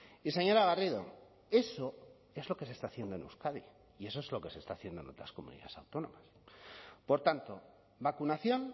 y señora garrido eso es lo que se está haciendo en euskadi y eso es lo que se está haciendo en otras comunidades autónomas por tanto vacunación